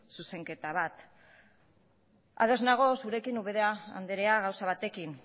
zuzenketa bat ados nago zurekin ubera andrea gauza batekin